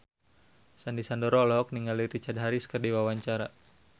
Sandy Sandoro olohok ningali Richard Harris keur diwawancara